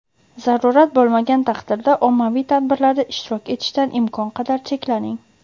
zarurat bo‘lmagan taqdirda ommaviy tadbirlarda ishtirok etishdan imkon qadar cheklaning!.